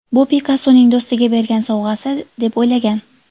Bu Pikassoning do‘stiga bergan sovg‘asi, deb o‘ylagan.